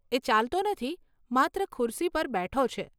એ ચાલતો નથી, માત્ર ખુરશી પર બેઠો છે.